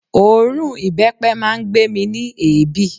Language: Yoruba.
Òórùn ìbẹ́pẹ máa ń gbé mi ní èébì